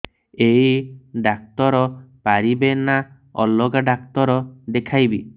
ଏଇ ଡ଼ାକ୍ତର ପାରିବେ ନା ଅଲଗା ଡ଼ାକ୍ତର ଦେଖେଇବି